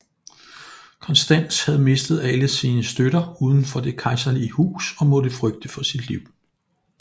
Konstans havde mistet alle sine støtter udenfor det kejserlige hus og måtte flygte for sit liv